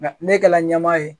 Ne kɛla ɲɛma ye.